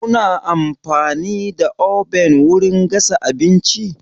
Kuna amfani da oven wurin gasa abinci?